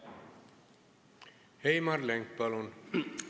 Heimar Lenk, palun!